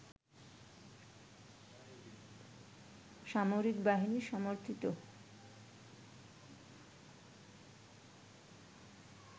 সামরিক বাহিনী সমর্থিত